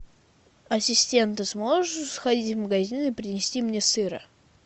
ассистент ты сможешь сходить в магазин и принести мне сыра